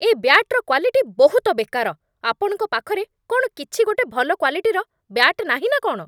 ଏ ବ୍ୟାଟ୍‌ର କ୍ୱାଲିଟି ବହୁତ ବେକାର । ଆପଣଙ୍କ ପାଖରେ କ'ଣ କିଛି ଗୋଟେ ଭଲ କ୍ୱାଲିଟିର ବ୍ୟାଟ୍ ନାହିଁ ନା କ'ଣ?